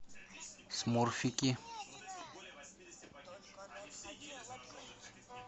смурфики